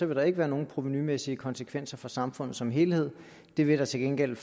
vil der ikke være nogen provenumæssige konsekvenser for samfundet som helhed det vil der til gengæld